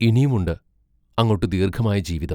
ഇനിയുമുണ്ട് അങ്ങോട്ടു ദീർഘമായ ജീവിതം.